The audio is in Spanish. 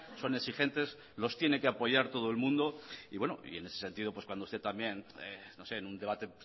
son exigentes los tiene que apoyar todo el mundo y en ese sentido pues cuando usted también no sé en un debate